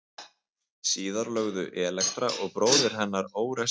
Síðar lögðu Elektra og bróðir hennar Órestes á ráðin um að hefna föður síns.